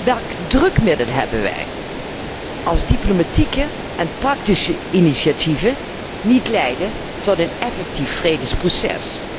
Welk drukmiddel hebben wij, als diplomatieke en praktische initiatieven niet leiden tot een effectief vredesproces?